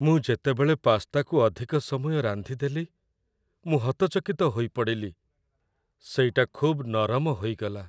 ମୁଁ ଯେତେବେଳେ ପାସ୍ତାକୁ ଅଧିକ ସମୟ ରାନ୍ଧିଦେଲି, ମୁଁ ହତଚକିତ ହୋଇପଡ଼ିଲି, ସେଇଟା ଖୁବ୍ ନରମ ହୋଇଗଲା।